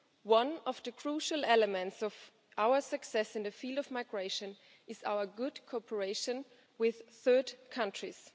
One of the crucial elements of our success in the field of migration is our good cooperation with third countries.